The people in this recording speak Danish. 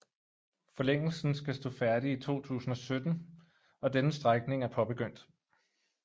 Forlængelsen skal stå færdig i 2017 og denne strækning er påbegyndt